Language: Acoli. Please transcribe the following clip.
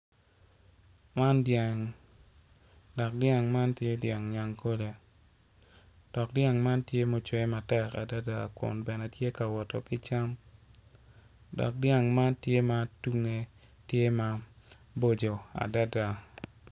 Man dyang dok dyang man tye dyang nyagkole dok dyang man tye matek adada dok tye ka wot ki cam dok dyang man tye ma tunge tye maboco adada.